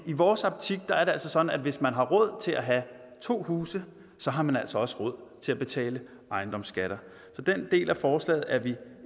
i vores optik er det altså sådan at hvis man har råd til at have to huse har man altså også råd til at betale ejendomsskatter så den del af forslaget er vi